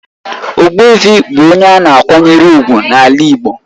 Ogbuefi bụ onye a na-akwanyere ùgwù n'ala igbo.